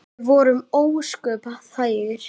Við vorum ósköp þægir.